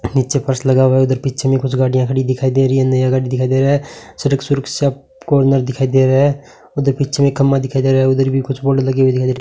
नीचे फर्श लगा हुआ उधर पीछे में कुछ गाड़ियां खड़ी दिखाई दे रही है नया गाड़ी दिखाई दे रहा है सरक सुरक्षा कॉर्नर दिखाई दे रहा है उधर पीछे में खम्मा दिखाई दे रहा है उधर भी कुछ बोर्ड लगे हुए दिखाई दे रही --